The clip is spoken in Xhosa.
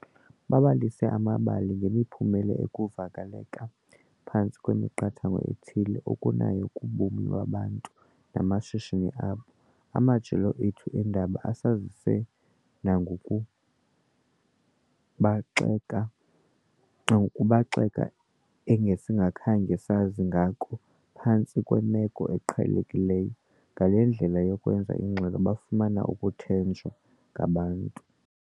Babalise amabali ngemiphumela ukuvaleleka phantsi kwemiqathango ethile okunayo kubomi babantu namashishini wabo. Amajelo wethu eendaba asazise nangokubaxeka nangokubaxeka engesingakhange sazi ngako phantsi kwemeko eqhelekileyo. Ngale ndlela yokwenza ingxelo bafumene ukuthenjwa ngabantu.